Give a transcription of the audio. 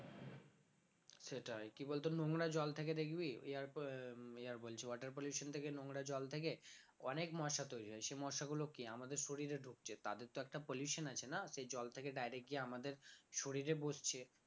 সেটাই কি বলতো নোংরা জল থেকে দেখবি air আহ উম air বলছি water pollution থেকে নোংরা জল থেকে অনেক মশা তৈরি হয় সে মশাগুলো কি আমাদের শরীরে ধুকছে তাদের তো একটা pollution আছে না সে জল থেকে direct গিয়ে আমাদের শরীরে বসছে